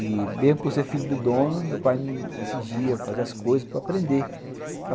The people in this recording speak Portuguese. E mesmo por ser filho do dono, meu pai me exigia fazer as coisas para aprender.